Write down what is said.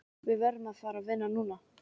Við verðum að fara vinna núna.